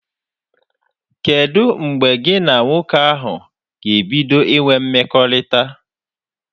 Kedụ mgbe gị na nwoke ahụ ga-ebido inwe mkpakọrịta?